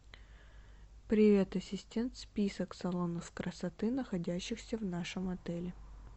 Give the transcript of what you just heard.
привет ассистент список салонов красоты находящихся в нашем отеле